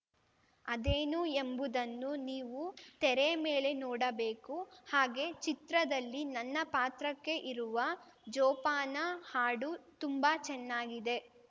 ಅದೇನು ಎಂಬುದನ್ನು ನೀವು ತೆರೆ ಮೇಲೆ ನೋಡಬೇಕು ಹಾಗೆ ಚಿತ್ರದಲ್ಲಿ ನನ್ನ ಪಾತ್ರಕ್ಕೆ ಇರುವ ಜೋಪಾನ ಹಾಡು ತುಂಬಾ ಚೆನ್ನಾಗಿದೆ